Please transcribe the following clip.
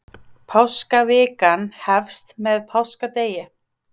páskavikan hefst með páskadegi